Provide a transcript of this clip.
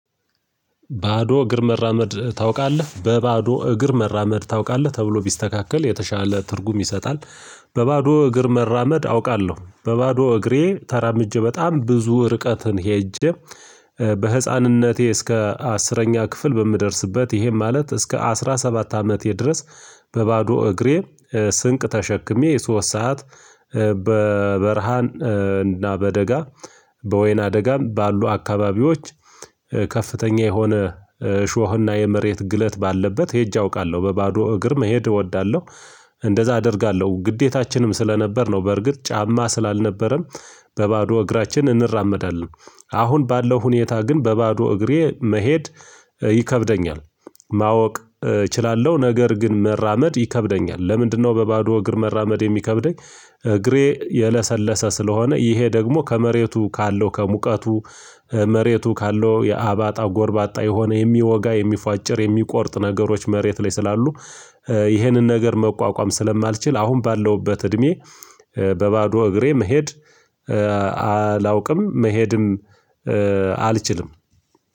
ባዶ እግር መራመድ ታውቃለህ በባዶ እግር መራመድ ታውቃለህ ተብሎ ቢስተካከል የተሻለ ትርጉም ይሰጣል። በባዶ እግር መራመድ አውቃለሁ በባዶ እግሬ ተራምጄ በጣም ብዙ ርቀትን ሄጄ። በህፃንነቴ እስከ አስረኛ ክፍል በምደርስበት ይሄም ማለት እስከ አስራ ሰባት አመት የድረስ። በባዶ እግሬ። ስንቅ ተሸክሜ የሶስት ሰዓት በበርሃን እና በደጋ በወይና አደጋም ባሉ አካባቢዎች ከፍተኛ የሆነ ሾህና የመሬት ግለት ባለበት ሄጄ አውቃለሁ በባዶ እግር መሄድ እወዳለሁ። እንደዛ አደርጋለሁ ግዴታችንም ስለነበር ነው። በርግጥ ጫማ ስላልነበረም በባዶ እግራችን እንራመዳለን። አሁን ባለው ሁኔታ ግን በባዶ እግሬ መሄድ ይከብደኛል። ማወቅ እችላለሁ ነገር ግን መራመድ ይከብደኛል። ለምንድነው በባዶ እግር መራመድ የሚከብደኝ? እግሬ የለሰለሰ ስለሆነ ይሄ ደግሞ ከመሬቱ ካለው ከሙቀቱ መሬቱ ካለው የአባጣ ጎርባጣ የሆነ የሚወጋ የሚፏጭር የሚቆርጥ ነገሮች መሬት ላይ ስላሉ። ይህንን ነገር መቋቋም ስለማልችል አሁን ባለውበት እድሜ በባዶ እግሬ መሄድ። አላውቅም መሄድም አልችልም።